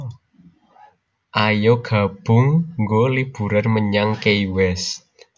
Ayo nabung nggo liburan menyang Key West